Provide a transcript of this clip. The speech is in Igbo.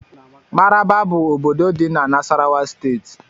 Maraba bụ ọbọdọ dị n' Nassarawa steeti.